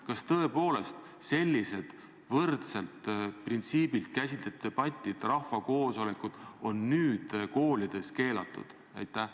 Kas tõepoolest sellised võrdselt printsiibilt käsitletud debatid ja rahvakoosolekud on nüüd koolides keelatud?